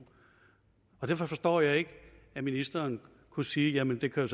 og derfor forstår jeg ikke at ministeren kunne sige jamen det kan